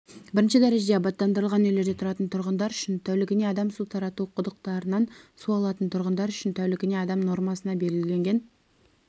бірінші дәрежеде абаттандырылған үйлерде тұратын тұрғындар үшін тәулігіне адам су тарату құдықтарынан су алатын тұрғындар үшін тәулігіне адам нормасы белгіленген